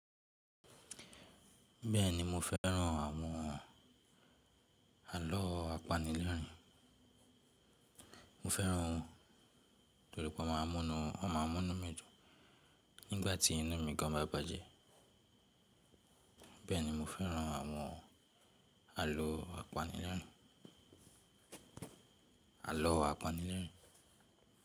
Bẹ́ẹ̀ni mo fẹ́ràn àwọn àlọ́ apanilẹ́rìn, mo fẹ́ran wọn torí pé wọ́n ma n mú inú mi dùn nígbàtí inú mi gan bá bàjẹ́. Bẹ́ẹ̀ni mo fẹ́ran àwọn àlọ́ apanilẹ́rìn-in, àlọ́ apanilẹ́rìn-in.